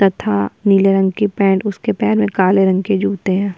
तथा नीले रंग की पेंट उसके पैर में काले रंग के जूते हैं --